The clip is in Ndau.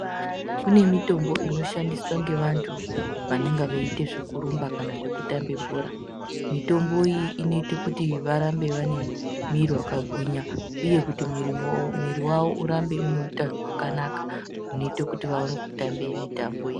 Kune mitombo inoshandiswa ngevantu vanenge veiita zveku rumba kana kutamba bhora. Mitombo iyi inoita kuti varambe vane mwiri akagwinya uye kuti miri wavo mwiri wavo urambe ine hutano hwakanaka unoita kuti vatambe mitambo iyi.